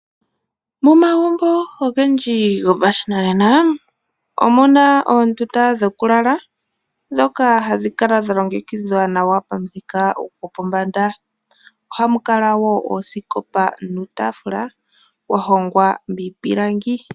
Momagumbo ogendji gopashinanena, omuna oondunda dhokulala dhoka hadhi kala dha longekidhwa nawa pamuthika gopombanda, ohamu kala woo oosikopa nuutafalu wa hongwa miipilangi.